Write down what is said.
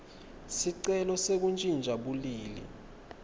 sicelo sekuntjintja bulili